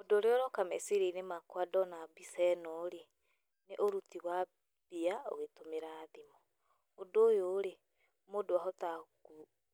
Ũndũ ũrĩa ũroka meciria-inĩ makwa ndona mbica ĩno rĩ, nĩ ũrũti wa mbia ũgĩtũmĩra thimũ. Ũndũ ũyũ rĩ, mũndũ ahotaga